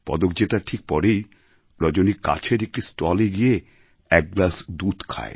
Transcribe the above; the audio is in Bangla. পদক জেতার ঠিক পরেই রজনী কাছের একটি স্টলে গিয়ে এক গ্লাস দুধ খায়